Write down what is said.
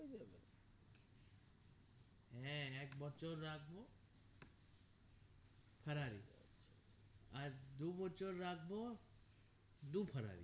হ্যাঁ এক বছর রাখবো ferrari আর দু বছর রাখবো দু ferrari